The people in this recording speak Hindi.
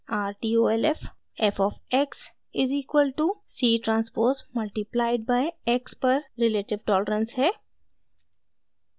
rtolf : f of x is equal to c transpose multiplied by x पर रिलेटिव टॉलरेंस है